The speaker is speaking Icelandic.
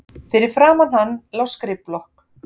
Fyrir framan hann lá skrifblokk.